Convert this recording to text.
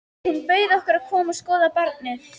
Hún bauð okkur að koma og skoða barnið.